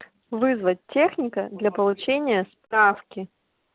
вызвать техника для получения справки